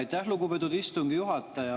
Aitäh, lugupeetud istungi juhataja!